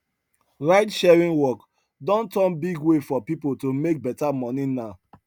ridesharing work don turn big way for people to make better money now